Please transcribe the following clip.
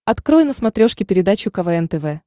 открой на смотрешке передачу квн тв